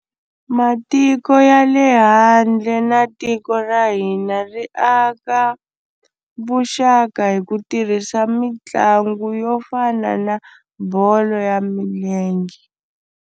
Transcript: Matiko ya le handle na tiko ra hina ri aka vuxaka hi ku tirhisa mitlangu yo fana na bolo ya milenge.